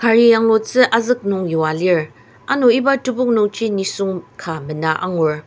cari yanglutsu azük nung yua lir ano iba tepok nungji nisung ka mena angur.